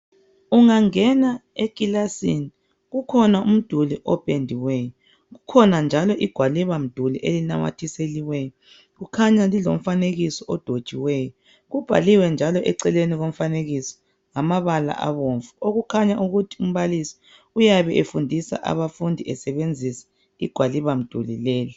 Ungangena ekilasini kukhona umduli opendiweyo kukhona njalo igwalibamduli elinamathiseliweyo likhanya lilomfanekiso odwetshiweyo kubhaliwe njalo eceleni komfanekiso ngamabala abomvu okukhanya ukuthi umbalisi uyabe efundisa abafundi esebenzisa igwalibamduli leli.